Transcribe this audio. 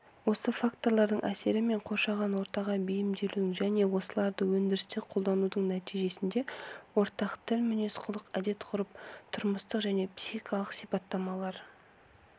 осы факторлардың әсері мен коршаған ортаға бейімделудің және осыларды өндірісте қолданудың нәтижесінде ортақ тіл мінезқұлық әдет-ғұрып тұрмыстық және психикалық сипаттамалар